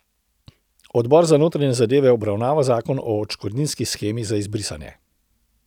Odbor za notranje zadeve obravnava zakon o odškodninski shemi za izbrisane.